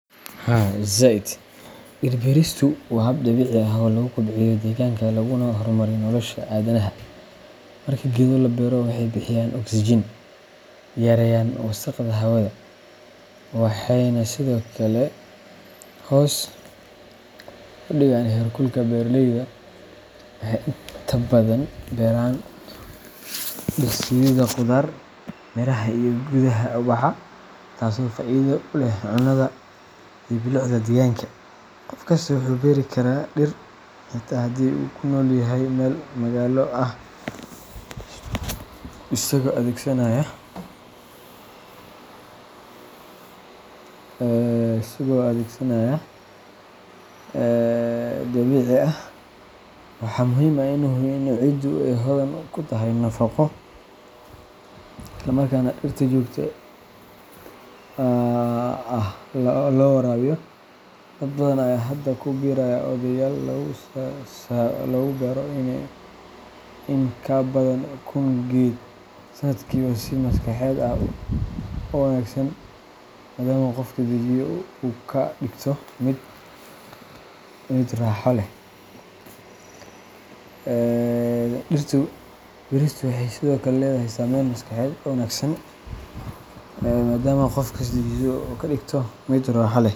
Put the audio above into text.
Haa zaid. Dhir-beeristu waa hab dabiici ah oo lagu kobciyo deegaanka laguna horumariyo nolosha aadanaha. Marka geedo la beero, waxay bixiyaan oksijiin, yareeyaan wasakhda hawada, waxayna sidoo kale hoos u dhigaan heerkulka. Beeraleydu waxay inta badan beeraan dhir sida khudaar, miraha, iyo geedaha ubaxa leh, taasoo faa’iido u leh cunnada iyo bilicda deegaanka. Qof kasta wuxuu beeri karaa dhir, xitaa haddii uu ku nool yahay meel magaalo ah, isagoo adeegsanaya pots ama planters yar yar. Dhirta waxaa lagu beeri karaa xilliyo gaar ah iyadoo la tixgelinayo cimilo ahaan. Tusaale ahaan, xilli roobaadka ayaa ah waqtiga ugu habboon ee la beero si dhirtu u hesho biyo dabiici ah. Waxaa muhiim ah in la hubiyo in ciiddu ay hodan ku tahay nafaqo, islamarkaana dhirta si joogto ah loo waraabiyo. Dad badan ayaa hadda ku biiraya ololeyaal lagu beero in ka badan kun geed sanadkiiba si loo xoojiyo la dagaalanka isbeddelka cimilada. Dhir-beeristu waxay sidoo kale leedahay saameyn maskaxeed oo wanaagsan, maadaama ay qofka dejiso oo ay ka dhigto mid raxo le.